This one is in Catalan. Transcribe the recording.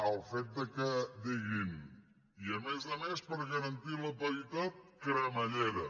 el fet que diguin i a més a més per garantir la paritat cremallera